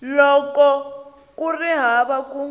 loko ku ri hava ku